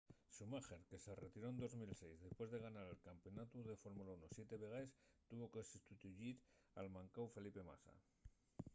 schumacher que se retiró en 2006 depués de ganar el campeonatu de fórmula 1 siete vegaes tuvo que sustituyir al mancáu felipe massa